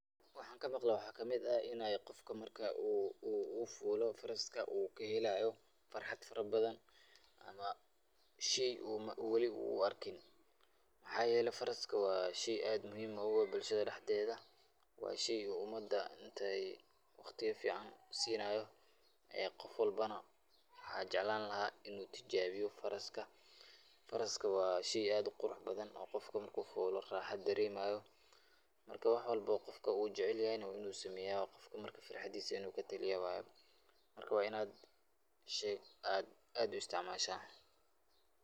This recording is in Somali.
Waxaan ka maqle waxaa kamid in aay qofka marka uu fuulo faraska uu kahelaayo farxad fara badan, ama sheey uu weli uu Arkin, mxaa yeele faraska waa sheey aad muhiim ugu ah bulshada dexdeeda, waa sheey umada inteey waqtiya fican siinayo, aay qofkan waxaan jeclaan lahaa inuu tijaabiyo faraska, faraska waa sheey aad uqurux badan oo qofka marka uu fuulo raaxa dareemayo, marka wax walbo oo qofka uu jecel yahay waa inuu sameeya qofka marka farxadiisa inuu kataliyaa waye, marka waa inaad sheyga aad u isticmaasha.